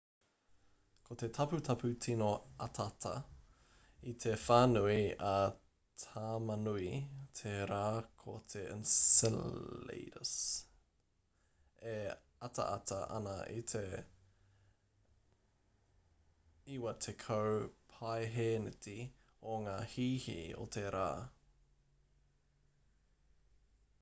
ko te taputapu tīno atata i te whānui a tamanui te rā ko te enceladus e ataata ana i te 90 paehēneti o ngā hīhī o te rā